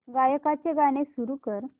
गायकाचे गाणे सुरू कर